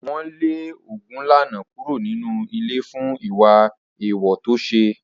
Wọ́n lé Ogunlana kúrò nínú ìlú fún ìwà èèwọ̀ tó ṣe.